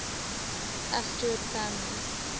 asterid families